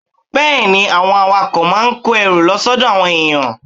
Bẹ́ẹ̀ ni, àwọn awakọ̀ máa ń kó ẹrù lọ sọ́dọ̀ àwọn èèyàn